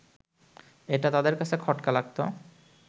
এটা তাদের কাছে খটকা লাগত